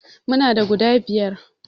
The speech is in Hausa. Muna da guda biyar